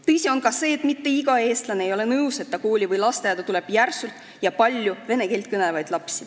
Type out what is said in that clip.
Tõsi on ka see, et mitte iga eestlane ei ole nõus, et ta lapse kooli või lasteaeda tuleb järsku palju vene keelt kõnelevaid lapsi.